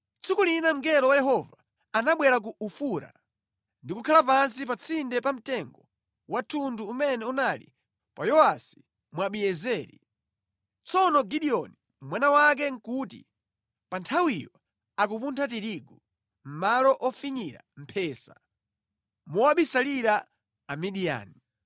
Tsiku lina mngelo wa Yehova anabwera ku Ofura ndi kukhala pansi pa tsinde pa mtengo wa thundu umene unali wa Yowasi Mwabiezeri. Tsono Gideoni, mwana wake nʼkuti pa nthawiyo akupuntha tirigu mʼmalo ofinyira mphesa mowabisalira Amidiyani.